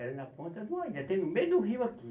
Era na Ponta do, até no meio do rio aqui.